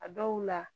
A dɔw la